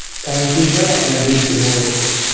Thank you sir আপনার দিন শুভ হোক.